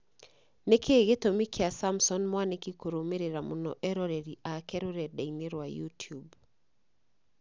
Nĩkĩĩ gĩtũmi kĩa Samson Mwanĩki kũrũmĩrĩra mũno eroreri ake rũrenda-inĩ rwa youtube